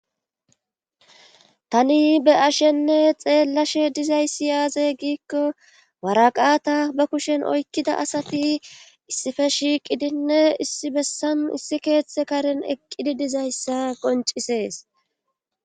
tani be'ashenne xeelashe dizayssi yaaze giikko waraqata ba kushen oykkida asati issife shiiqidinne issi bessan issi keeththe karen eqqidi dizayssa qoncisees